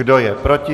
Kdo je proti?